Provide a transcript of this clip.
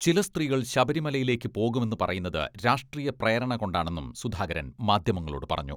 ചില സ്ത്രീകൾ ശബരിമലയിലേക്ക് പോകുമെന്ന് പറയുന്നത് രാഷ്ട്രീയ പ്രേരണ കൊണ്ടാണെന്നും സുധാകരൻ മാധ്യമങ്ങളോടു പറഞ്ഞു.